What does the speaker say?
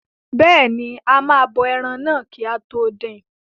Bẹ́ẹ̀ni, a máa bọ ẹran náà kí a tó dín in.